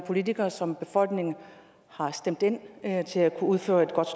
politikere som befolkningen har stemt ind til at kunne udføre et godt